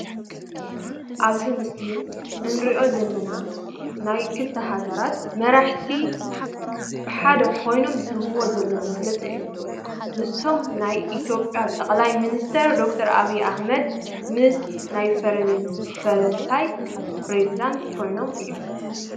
ኣብዚ ምስሊ እንርእዮ ዘለና ናይ ክልተ ሃገራት መራሕቲ ብሓደ ኮይኖም ዝህብዎ ዘለው መግለፂ እዮም። ንሶም ናይ ኢትዮጵያ ጠቅላይ ሚኒስተር ደ/ር ኣብይ አሕመድ ምስ ናይ ፈረንሳይ ፕሬዝዳንት ኮይኖም እዮም።